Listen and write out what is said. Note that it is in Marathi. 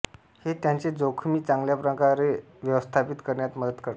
हे त्यांचे जोखमी चांगल्याप्रकारे व्यवस्थापित करण्यात मदत करते